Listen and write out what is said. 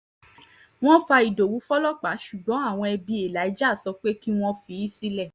wọ́n fa ìdòwú fọlọ́pàá ṣùgbọ́n àwọn ẹbí elijah sọ pé kí wọ́n fi í sílẹ̀